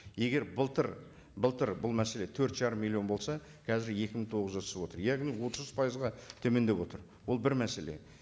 егер былтыр былтыр бұл мәселе төрт жарым миллион болса қазір екі мың тоғыз жүзге түсіп отыр яғни отыз пайызға төмендеп отыр ол бір мәселе